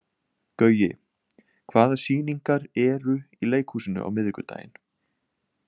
Gaui, hvaða sýningar eru í leikhúsinu á miðvikudaginn?